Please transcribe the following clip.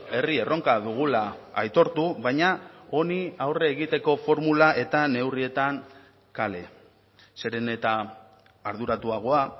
herri erronka dugula aitortu baina honi aurre egiteko formula eta neurrietan kale zeren eta arduratuagoa